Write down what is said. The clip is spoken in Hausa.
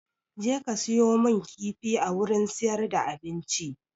Jeka siyo mun kifi a wurin siyar da abinci!